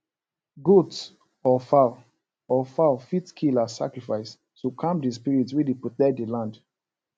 goat or fowl or fowl fit kill as sacrifice to calm the spirit wey dey protect the land